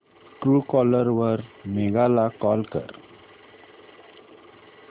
Truecaller वर मेघा ला call कर